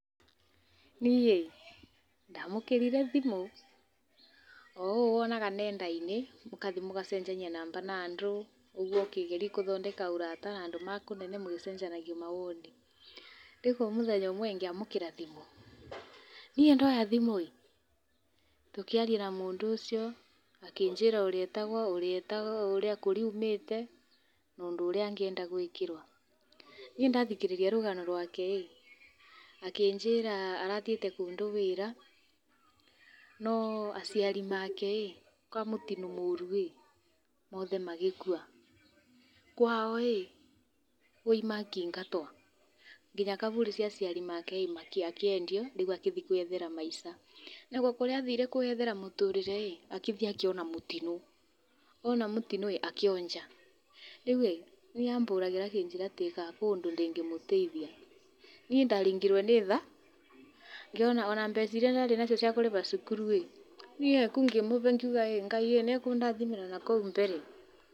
Niĩ, ndamũkĩrirĩ thĩmũ o ũũ wonaga nenda-inĩ mũgathĩĩ mũgacenjanĩa namba na andũ ũgũo ũkigerĩa gũthondeka ũrata na andũ a kũnene mũkĩgerĩa gũcenjanĩa maũndũ. Rĩũ kwa mũthenya ũmwe gĩamũkĩra thĩmũ, nĩĩ ndoya thĩmũ íĩ tũkĩarĩa na mũndũ ũcĩo, akĩnjĩra ũrĩa etagwo ũrĩa etagwo kũria aũmĩtena ũndũ ũrĩa angĩenda gũikĩrwo. Niĩ ndathĩkĩrĩrĩa rũgano rwake akĩnjĩra arathĩete kũndũ wĩra, no acĩarĩ ake kwa mũtĩno mũrũ ĩ, othe magĩkũa. Kwao ĩ, makĩĩngatwo ngĩnya kabũrĩ ga acĩarĩ ake gakĩendĩo rĩũ agĩthĩe kwĩyethera maĩca nakwo kũrĩa athĩre kwĩyethera mũtũrĩre agĩthĩĩ akĩona mũtĩno, ona mũtĩno ĩ, akĩonja rĩũ ahũragĩra akĩnjĩra kana kũrĩ ũndũ ingĩmũteĩthĩa niĩ ndarĩngĩrwo nĩ tha ngĩona ona mbeca ĩrĩa ndarĩ nacĩo cĩa kũrĩha cũkũrũ niĩ ngĩmũhe ngĩũga ngaĩ nĩ ekũndathĩmĩra nakũu mbere